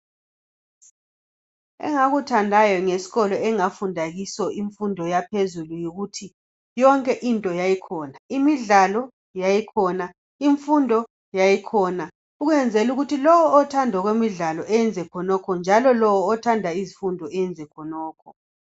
Engakuthandayo ngesikolo engafunda kiso imfundo yaphezulu yikuthi yonke into yayikhona. Imidlalo yayikhona, imfundo yayikhona ukwenzela ukuthi lowo othanda imidlalo eyenze khonokho njalo lo othanda izifundo eyenze khonokho.